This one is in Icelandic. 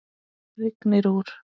Rignir úr.